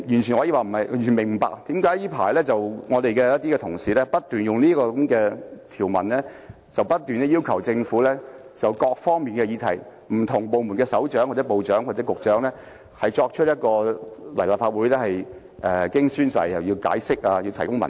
所以我完全不明白為何這陣子我們的同事不斷利用這些條文，要求政府就各方面的議題，傳召不同的部門首長或局長到立法會作證、解釋和提供文件。